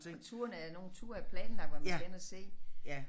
Og turene er nogle ture er planlagt hvad man skal ind og se